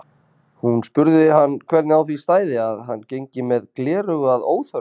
Hún spurði hann hvernig á því stæði að hann gengi með gleraugu að óþörfu.